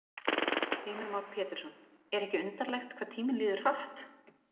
Heimir Már Pétursson: Er ekki undarlegt hvað tíminn líður hratt?